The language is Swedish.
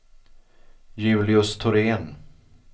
Julius Thorén